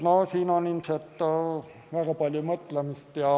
Siin on ilmselt väga palju mõtlemist.